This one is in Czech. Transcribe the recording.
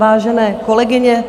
Vážené kolegyně,